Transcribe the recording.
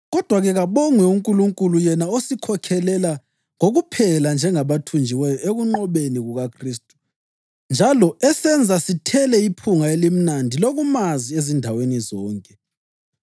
Kodwa-ke, kabongwe uNkulunkulu, yena osikhokhelela kokuphela njengabathunjiweyo ekunqobeni kukaKhristu njalo esenza sithele iphunga elimnandi lokumazi ezindaweni zonke.